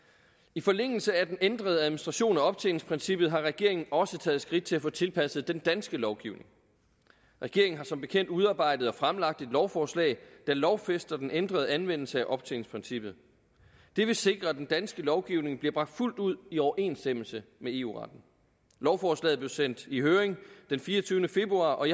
i forlængelse af den ændrede administration af optjeningsprincippet har regeringen også taget skridt til at få tilpasset den danske lovgivning regeringen har som bekendt udarbejdet og fremlagt et lovforslag der lovfæster den ændrede anvendelse af optjeningsprincippet det vil sikre at den danske lovgivning bliver bragt fuldt ud i overensstemmelse med eu retten lovforslaget blev sendt i høring den fireogtyvende februar og